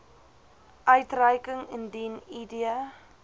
uitreiking indien id